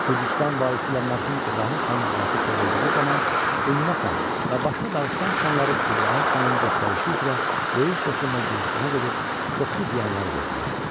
Gürcüstan valisi ilə mərhum İbrahim xanının arası pozulduğu zaman Ümmə xan və başqa Dağıstan xanları İbrahim xanın göstərişi üzrə böyük qoşunla Gürcüstana gedib çoxlu ziyanlar verdilər.